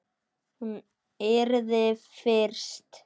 Hún yrði fyrst.